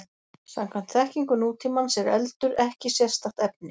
Samkvæmt þekkingu nútímans er eldur ekki sérstakt efni.